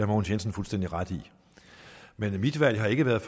mogens jensen fuldstændig ret i men mit valg har ikke været